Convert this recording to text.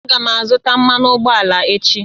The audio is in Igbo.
Aga m azụta mmanụ ụgbọala echi